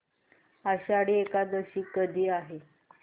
आषाढी एकादशी कधी आहे